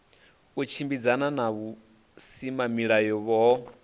u tshimbidzana na vhusimamilayo ho